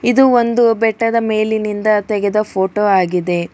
ಇದು ಒಂದು ಬೆಟ್ಟದ ಮೇಲಿನಿಂದ ತೆಗೆದ ಫೋಟೋ ವಾಗಿದೆ.